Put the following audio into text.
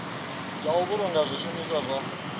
ya u vhulunga zwishumiswa zwa